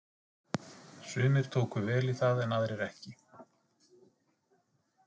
Sumir tóku vel í það en aðrir ekki.